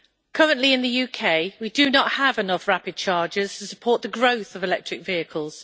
Currently in the UK, we do not have enough rapid chargers to support the growth of electric vehicles.